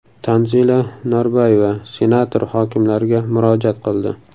Tanzila Norboyeva senator-hokimlarga murojaat qildi.